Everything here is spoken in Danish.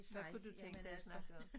Hvad kunne du tænke dig at snakke om?